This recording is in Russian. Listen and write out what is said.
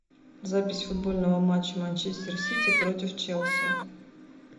запись футбольного матча манчестер сити против челси